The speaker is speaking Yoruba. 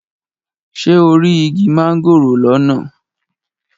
Ṣé o rí igi mángòrò lọ́nà?